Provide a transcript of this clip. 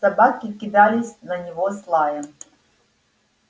собаки кидались на него с лаем